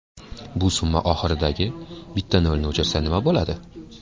Bu summa oxiridagi bitta nolni o‘chirsa nima bo‘ladi?